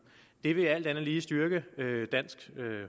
det vil alt andet lige styrke dansk